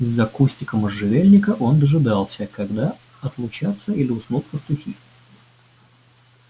из-за кустика можжевельника он дожидался когда отлучатся или уснут пастухи